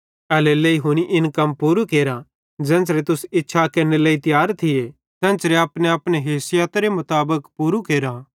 एल्हेरेलेइ हुनी इन कम पूरू केरा ज़ेन्च़रे तुस इच्छा केरने तियार थिये तेन्च़रे अपनेअपने हैसियतरे मुताबिक पूरू भी केरा